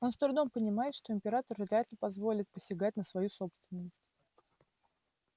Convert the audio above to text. он с трудом понимает что император вряд ли позволит посягать на свою собственность